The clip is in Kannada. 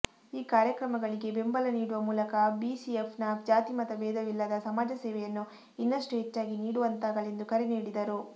ಈ ಕಾರ್ಯಕ್ರಮಗಳಿಗೆ ಬೆಂಬಲ ನೀಡುವ ಮೂಲಕ ಬಿಸಿಎಫ್ ನ ಜಾತಿಮತಬೇಧವಿಲ್ಲದ ಸಮಾಜಸೇವೆಯನ್ನು ಇನ್ನಷ್ಟು ಹೆಚ್ಚಾಗಿ ನೀಡುವಂತಾಗಲಿ ಎಂದು ಕರೆ ನೀಡಿದರು